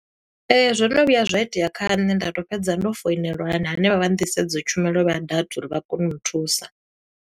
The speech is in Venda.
Ee, zwo no vhuya zwa itea kha nṋe nda to fhedza ndo foinelwa hanevha vha nḓisedzo tshumelo vha data uri vha kone u nthusa.